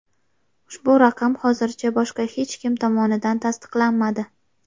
Ushbu raqam hozircha boshqa hech kim tomonidan tasdiqlanmadi.